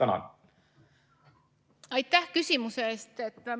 Aitäh küsimuse eest!